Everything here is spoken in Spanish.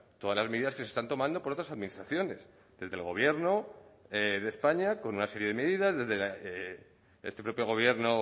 todas las medidas que se están tomando por otras administraciones desde el gobierno de españa con una serie de medidas desde este propio gobierno